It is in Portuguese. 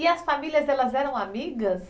E as famílias elas eram amigas?